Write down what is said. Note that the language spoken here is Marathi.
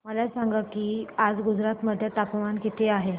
मला सांगा की आज गुजरात मध्ये तापमान किता आहे